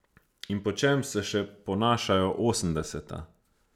In po čem se še ponašajo osemdeseta?